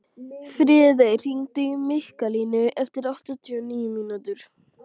Friðey, hringdu í Mikkalínu eftir áttatíu og níu mínútur.